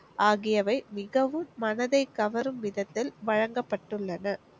ஆகியவை மிகவும் மனதை கவரும் விதத்தில் வழங்கப்பட்டுள்ளன.